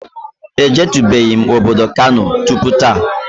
E jetubeghi obodo Kano tupu taa